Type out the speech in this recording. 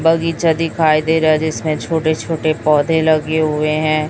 बगीचा दिखाई दे रहा जिसमें छोटे छोटे पौधे लगे हुए हैं।